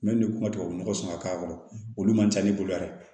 kuma tubabu nɔgɔ sɔn ka k'a kɔnɔ olu man ca ne bolo yan dɛ